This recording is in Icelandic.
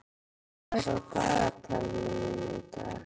Sigdór, hvað er á dagatalinu mínu í dag?